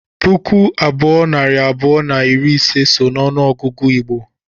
puku abụọ, nari abụọ na iri ise so n’ọnụọgụgụ Igbo